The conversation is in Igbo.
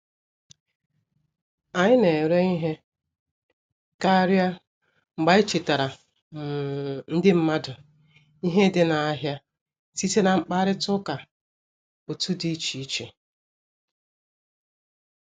Anyị na-ere ihe karịa mgbe anyị chetaara um ndị mmadụ ihe dị n'ahịa site na mkparịta ụka otu di iche iche